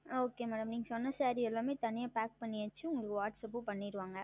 ஆஹ் Okay Madam நீங்கள் சொன்ன Saree எல்லாம் தனியாக Pack செய்தாச்சு உங்களுக்கு Whatsapp செய்து விடுவார்கள்